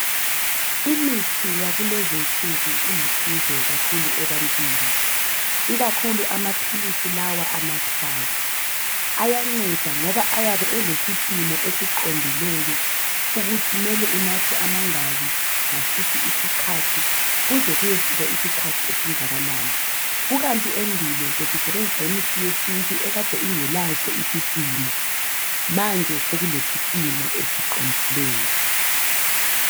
Imithi yakulezi insuku, ilusizo kakhulu ebantwini. Ikakhula amaphilisi lawa anathwayo, Ayanceda ngoba ayabe elesipimo esiwondileyo. Ukuthi kumele unathe amaphilisi amangaki, okwesikhathi esingakanani. Endulo besisebenzisa imithi yesintu, ebingelaso isipimo. Manje sekulesipimo esiqondileyo.